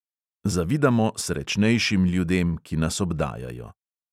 Zavidamo "srečnejšim" ljudem, ki nas obdajajo.